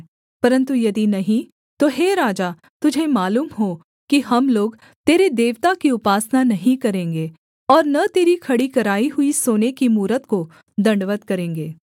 परन्तु यदि नहीं तो हे राजा तुझे मालूम हो कि हम लोग तेरे देवता की उपासना नहीं करेंगे और न तेरी खड़ी कराई हुई सोने की मूरत को दण्डवत् करेंगे